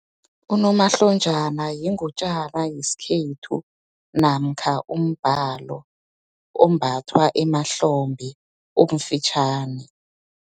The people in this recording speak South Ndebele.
Unomahlonjana, yingutjana yeskhethu, namkha umbalo, ombathwa emahlombe, omfitjhani.